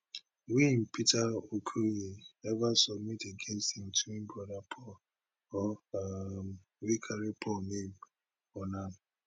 wey im peter okoye ever submit against im twin brother paul or um wey carry paul name on am